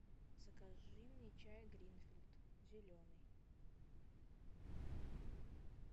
закажи мне чай гринфилд зеленый